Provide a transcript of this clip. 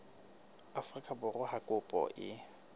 afrika borwa ha kopo e